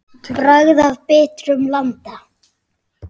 Bragð af bitrum landa.